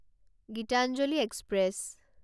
Gitanjali express